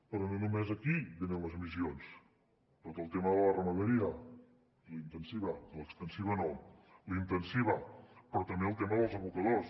però no només d’aquí venen les emissions de tot el tema de la ramaderia la intensiva l’extensiva no la intensiva però també del tema dels abocadors